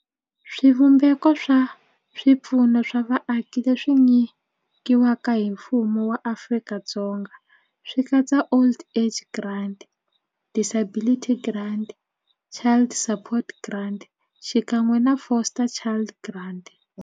Swivumbeko swa swipfuno swa vaaki leswi nyikiwaka hi mfumo wa Afrika-Dzonga swi katsa old age grant, disability grant, child support grant xikan'we na foster child grant.